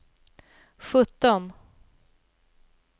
sjutton